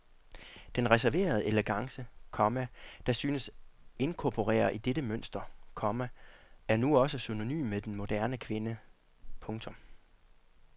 Den reserverede elegance, komma der synes inkorporere i dette mønster, komma er nu også synonym med den moderne kvinde. punktum